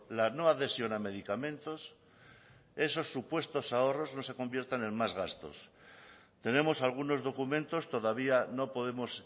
la no adhesión a medicamentos esos supuestos ahorros no se conviertan en más gastos tenemos algunos documentos todavía no podemos